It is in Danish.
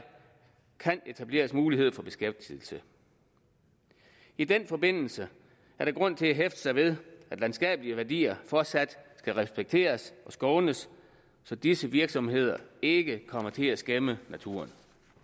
kan etableres mulighed for beskæftigelse i den forbindelse er der grund til at hæfte sig ved at landskabelige værdier fortsat skal respekteres og skånes så disse virksomheder ikke kommer til at skæmme naturen